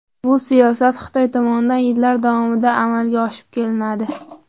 Bu siyosat Xitoy tomonidan yillar davomida amalga oshirib kelinadi.